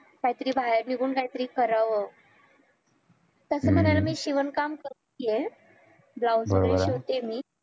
काही तरी बाहेर निघून काही तरी करावं तसं मानलं तर मी शिवण काम करती आहे ब्लाऊज शिवततेय मी